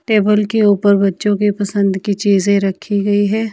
Table के ऊपर बच्चो के पसंद की चीज रखी गई है।